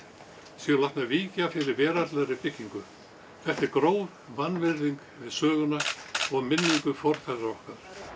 séu látnar víkja fyrir veraldlegri byggingu þetta er gróf vanvirðing við söguna og minningu forfeðra okkar